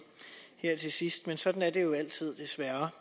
her til sidst men sådan er det jo altid desværre